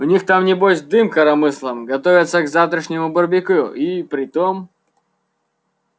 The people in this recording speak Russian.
у них там небось дым коромыслом готовятся к завтрашнему барбекю и при том